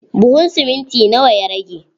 Buhun siminti na wa ya rage?